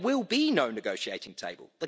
there will be no negotiating table.